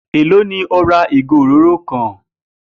Èló ni o ra ìgò òróró kan?